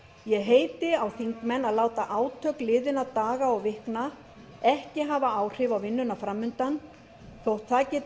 ég heiti á þingmenn að láta átök liðinna daga og vikna ekki hafa áhrif á vinnuna fram undan þótt það geti